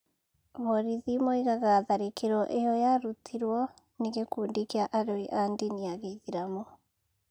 Borithi moigaga tharĩkĩro ĩyo yarutirũo nĩ gĩkundi kĩa aroi a ndini ya gĩithĩramu.